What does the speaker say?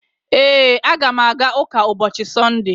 Ee, a ga m aga ụka ụbọchị Sọnde